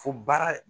Fo baara